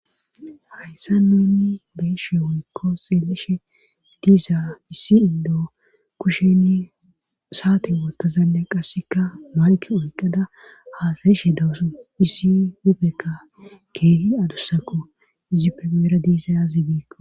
Hayssa nuuni beeshe hoykko xeelishe diiza issi indo kushenni saate wottozanne qasseka mayke oyqada haasayishe dawusu issi dupekka keehi adussako zipeeera diisayazibiqo.